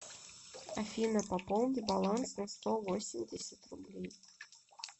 афина пополни баланс на сто восемьдесят рублей